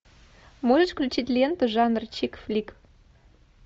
можешь включить ленту жанр чик флик